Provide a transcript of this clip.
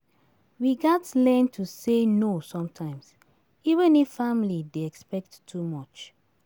We gats learn to say no sometimes, even if family dey expect too much.